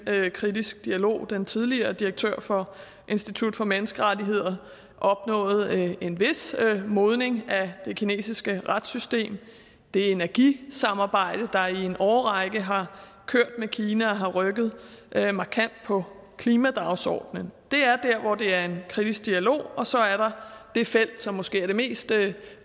kritisk dialog den tidligere direktør for institut for menneskerettigheder opnåede en vis modning af det kinesiske retssystem det energisamarbejde der i en årrække har kørt med kina og har rykket markant på klimadagsordenen det er der hvor det er en kritisk dialog og så er der det felt som måske er det mest